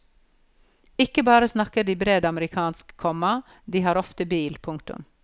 Ikke bare snakker de bred amerikansk, komma de har ofte bil. punktum